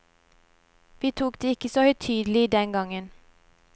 Vi tok det ikke så høytidelig den gangen.